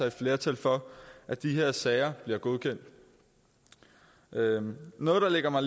et flertal for at de her sager bliver godkendt noget noget der ligger mig